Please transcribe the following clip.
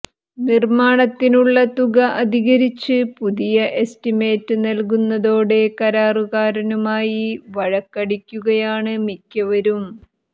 നിര്മാണത്തിനുള്ള തുക അധികരിച്ച് പുതിയ എസ്റ്റിമേറ്റ് നല്കുന്നതോടെ കരാറുകാരനുമായി വഴക്കടിക്കുകയാണ് മിക്കവരും